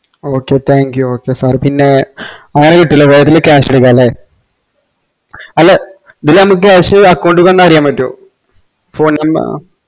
okay thank you okay sir പിന്നെ അങ്ങനെ കിട്ടൂലെ അല്ല ഇതില് മ്മക്ക് cash account ക്ക് വന്നറിയാൻപാറ്റോ phone നമ്പ